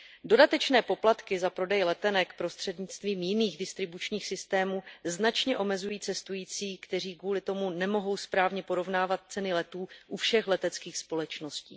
Dodatečné poplatky za prodej letenek prostřednictvím jiných distribučních systémů značně omezují cestující, kteří kvůli tomu nemohou správně porovnávat ceny letů u všech leteckých společností.